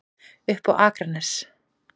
Upp á Akranes.